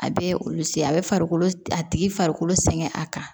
A bɛ olu se a bɛ farikolo a tigi farikolo sɛgɛn a kan